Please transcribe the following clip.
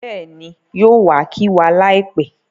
Bẹ́ẹ̀ni, yóò wa kí wa láìpẹ́